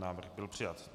Návrh byl přijat.